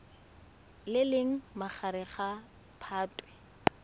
le leng magareng ga phatwe